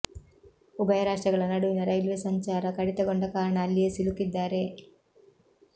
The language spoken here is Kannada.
ಉಭಯ ರಾಷ್ಟ್ರಗಳ ನಡುವಿನ ರೈಲ್ವೆ ಸಂಚಾರ ಕಡಿತಗೊಂಡ ಕಾರಣ ಅಲ್ಲಿಯೇ ಸಿಲುಕಿದ್ದಾರೆ